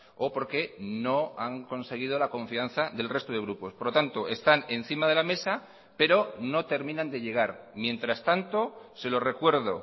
o porque no han conseguido la confianza del resto de grupos por lo tanto están encima de la mesa pero no terminan de llegar mientras tanto se lo recuerdo